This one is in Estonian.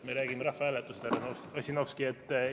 Me räägime rahvahääletusest, härra Ossinovski.